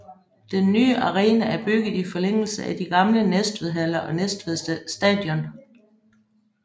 Den nye arena er bygget i forlængelse af de gamle Næstved Haller og Næstved Stadion